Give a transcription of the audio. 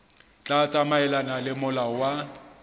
tla tsamaelana le molao wa